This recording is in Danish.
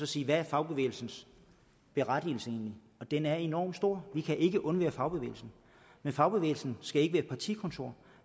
siger hvad er fagbevægelsens berettigelse egentlig og den er enormt stor vi kan ikke undvære fagbevægelsen men fagbevægelsen skal ikke være et partikontor